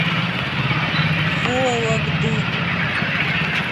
вологды